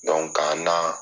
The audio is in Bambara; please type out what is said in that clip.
ka'n na